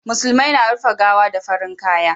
musulmai na rufe gawa da farin kaya